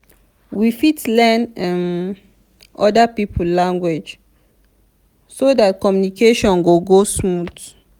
we fit learn um oda pipo language so dat communication go smooth